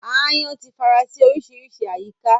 Aáyán ti fara sí oríṣiríṣi àyíká